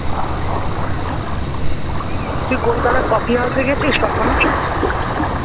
তুই কলকাতার কফি হাউসে গেছিস কখনো ?